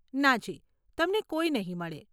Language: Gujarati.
નાજી, તમને કોઈ નહીં મળે.